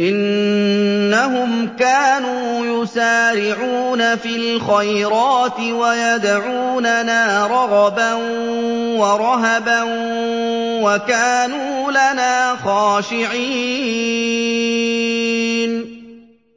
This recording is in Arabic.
إِنَّهُمْ كَانُوا يُسَارِعُونَ فِي الْخَيْرَاتِ وَيَدْعُونَنَا رَغَبًا وَرَهَبًا ۖ وَكَانُوا لَنَا خَاشِعِينَ